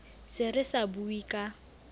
se re sa bue ka